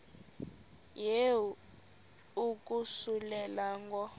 yehu ukususela ngo